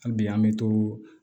Hali bi an bɛ to